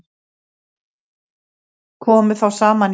Komu þá saman í